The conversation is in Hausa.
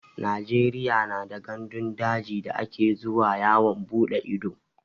Najeriya na da gandun daji da ake zuwa yawon bude ido